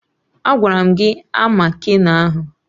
Agwara m gị a ama keno ahụ!